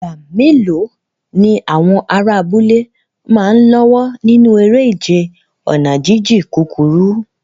Ìgbà mélòó ni àwọn ará abúlé máa ń lọ́wọ́ nínú eré ìje ọ̀nà jíjìn kúkúrú?